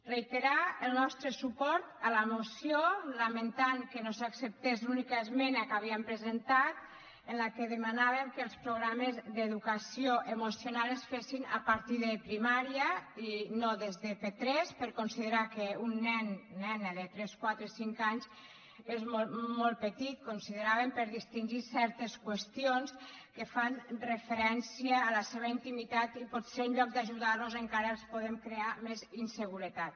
reiterar el nostre suport a la moció i lamentar que no s’acceptés l’única esmena que havíem presentat en la qual demanàvem que els programes d’educació emocional es fessin a partir de primària i no des de p3 per considerar que un nen nena de tres quatre cinc anys és molt petit consideràvem per distingir certes qüestions que fan referència a la seva intimitat i potser en lloc d’ajudar los encara els podem crear més inseguretat